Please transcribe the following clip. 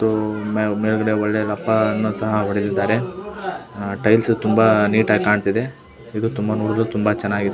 ಇದು ಮೇಲ್ಗಡೆ ಒಳ್ಳೆ ಲೆಪ್ಪವನ್ನು ಸಹ ಹೊಡೆದಿದ್ದಾರೆ ಟೈಲ್ಸ್ ತುಂಬಾ ನೀಟ್ ಆಗಿ ಕಾಂತಿದೆ ಇದು ನೋಡಲು ತುಂಬಾ ಚೆನ್ನಾಗಿ ಇದೆ.